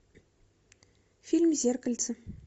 фильм зеркальце